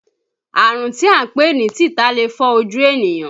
Àrùn tí à ń pè ní tìta lè fọ́ ojú ènìyàn